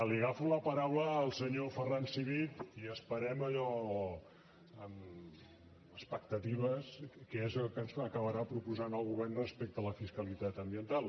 li agafo la paraula al senyor ferran civit i esperem allò amb expectatives què és el que ens acabarà proposant el govern respecte a la fiscalitat ambiental